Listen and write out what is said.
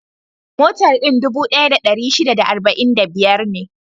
Motar din dubu ɗaya da ɗari shida da arba'in da biyar ne.